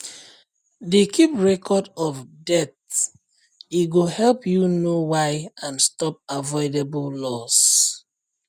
dey keep record of deaths e go help you know why and stop avoidable loss